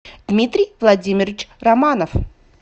дмитрий владимирович романов